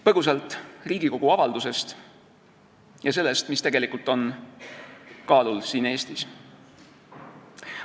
Põgusalt Riigikogu avaldusest ja sellest, mis tegelikult on siin Eestis kaalul.